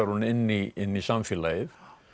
hún inn í inn í samfélagið